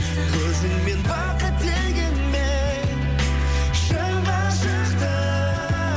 өзіңмен бақыт дегенмен шын ғашықты